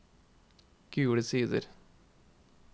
Gule Sider